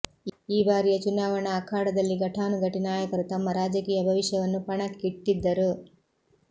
ಈ ಬಾರಿಯ ಚುನಾವಣಾ ಅಖಾಡದಲ್ಲಿ ಘಟನಾನುಘಟಿ ನಾಯಕರು ತಮ್ಮ ರಾಜಕೀಯ ಭವಿಷ್ಯವನ್ನು ಪಣಕ್ಕಿಟ್ಟಿದ್ದರು